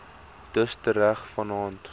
dus tereg vannaand